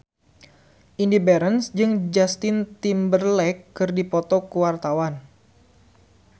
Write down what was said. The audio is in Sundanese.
Indy Barens jeung Justin Timberlake keur dipoto ku wartawan